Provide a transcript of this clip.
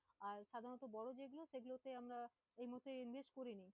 আর সাধারণত বড়ো business সেগুলোতে আমরা এই মুহূর্তে invest করিনি।